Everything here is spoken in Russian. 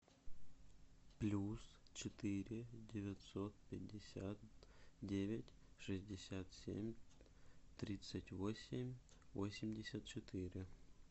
плюс четыре девятьсот пятьдесят девять шестьдесят семь тридцать восемь восемьдесят четыре